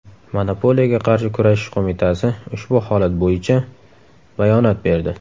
Monopoliyaga qarshi kurashish qo‘mitasi ushbu holat bo‘ycha bayonot berdi .